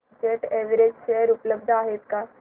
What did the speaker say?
jet Airways share उपलब्ध आहेत का